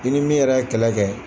I ni min yɛrɛ ye kɛlɛ kɛ